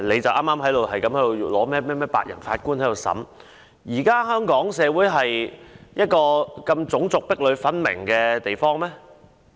他又提及甚麼白人陪審團，但香港是一個種族如此壁壘分明的社會嗎？